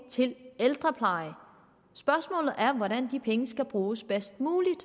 til ældrepleje spørgsmålet er hvordan de penge bruges bedst muligt